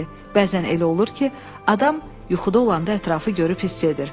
Bəzən elə olur ki, adam yuxuda olanda ətrafı görüb hiss edir.